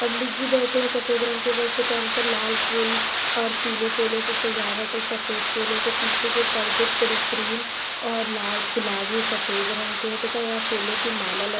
पंडित जी बैठे हैं सफेद रंग के वस्त्र पहनकर। लाल फूल और पीले फूलों से सजावट सफेद फूलों से पीछे के पर्दे पर क्रीम और लाल गुलाबी सफेद रंग के तथा यह फूलों की माला ल --